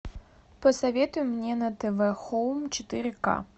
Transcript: посоветуй мне на тв хоум четыре ка